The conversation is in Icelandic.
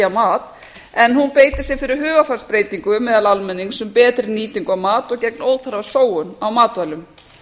mat en hún beitir sér fyrir hugarfarsbreytingu meðal almennings um betri nýtingu á mat og gegn óþarfa sóun á matvælum